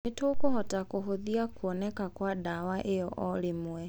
"Nitũkũhota kũhothia kuoneka kwa dawa iyo oo rimwe."